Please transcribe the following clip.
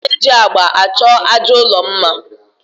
A na-eji agba achọ àjà ụlọ mma